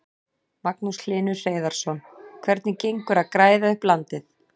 Magnús Hlynur Hreiðarsson: Hvernig gengur að græða upp landið?